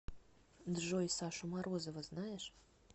джой сашу морозова знаешь